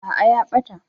Aa ya ɓata.